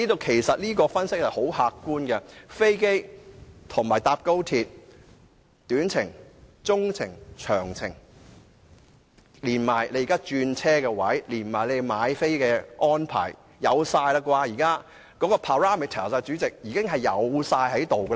其實，這項分析極為客觀，而乘搭飛機與高鐵短、中、長途的旅程時間，轉車位置和售票安排等資料，現時亦應已備妥。